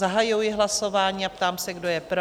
Zahajuji hlasování a ptám se, kdo je pro?